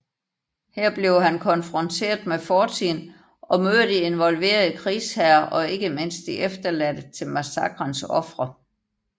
Her bliver han konfronteret med fortiden og møder de involverede krigsherrer og ikke mindst de efterladte til massakrens ofre